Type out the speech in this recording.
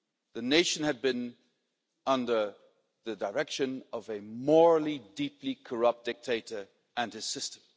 The nation had been under the direction of a morally deeply corrupt dictator and his system.